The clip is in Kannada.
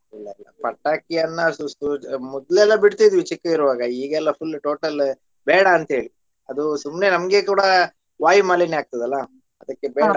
ಇಲ್ಲಾ ಪಟಾಕಿಯನ್ನ ಮೊದ್ಲೆಲ್ಲಾ ಬಿಡ್ತಿದ್ವಿ ಚಿಕ್ಕಿರುವಾಗ ಈಗೆಲ್ಲಾ full total ಬೇಡ ಅಂತೇಳಿ ಅದು ಸುಮ್ನೆ ನಮ್ಗೆ ಕೂಡ ವಾಯು ಮಾಲಿನ್ಯ ಆಗ್ತದಲ್ಲ ಅದಕ್ಕೆ ಬೇಡಾ.